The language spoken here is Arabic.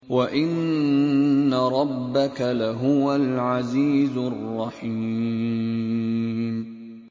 وَإِنَّ رَبَّكَ لَهُوَ الْعَزِيزُ الرَّحِيمُ